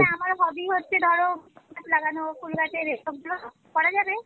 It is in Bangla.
আমার hobby হচ্ছে ধর গাছ লাগানো ফুল গাছের এসব গুলো করা যাবে?